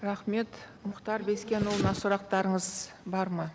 рахмет мұхтар бескенұлына сұрақтарыңыз бар ма